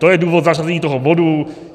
To je důvod zařazení toho bodu.